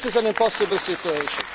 This is an impossible situation.